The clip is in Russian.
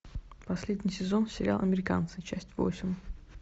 последний сезон сериал американцы часть восемь